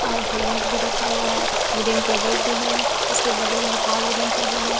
और हेलमेट भी रखा हुआ है वुडेन टेबल भी है उसके बगल में एक ओर वुडेन टेबल है।